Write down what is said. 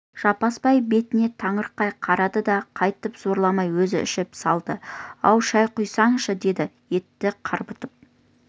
жаппасбай бетіне таңырқай қарады да қайтып зорламай өзі ішіп салды ау шай құйсайшы деді етті қарбытып